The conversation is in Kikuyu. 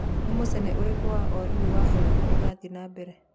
ni mucene ũrĩkũ wa o rĩũ wa hollywood urathie na mbere